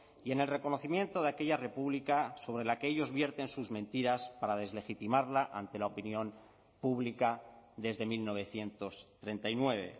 y en el reconocimiento de aquella república sobre la que ellos vierten sus mentiras para deslegitimarla ante la opinión pública desde mil novecientos treinta y nueve